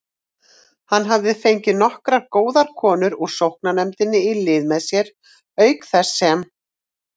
Hann hafði fengið nokkrar góðar konur úr sóknarnefndinni í lið með sér, auk þess sem